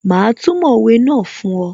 Mà á túmọ̀ òwe náà fún ọ